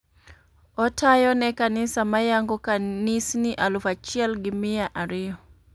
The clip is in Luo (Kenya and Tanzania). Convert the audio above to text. Otayo ne kanisa mayango kanisni Aluf achiel gi mia ariyo.